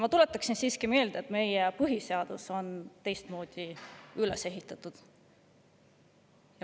Ma tuletaksin siiski meelde, et meie põhiseadus on teistmoodi üles ehitatud.